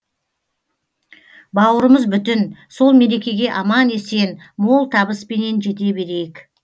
бауырымыз бүтін сол мерекеге аман есен мол табыспенен жете берейік